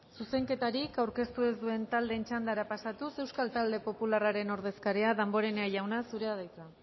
zuzenketarik aurkeztu ez duen taldeen txandara pasatuz euskal talde popularraren ordezkaria damborenea jauna zurea da hitza